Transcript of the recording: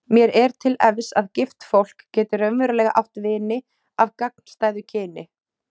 Mér er til efs að gift fólk geti raunverulega átt vini af gagnstæðu kyni.